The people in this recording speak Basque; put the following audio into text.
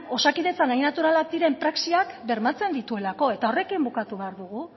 osakidetzan hain naturalak diren praxiak bermatzen dituelako eta horrekin bukatu behar dugu